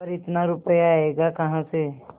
पर इतना रुपया आयेगा कहाँ से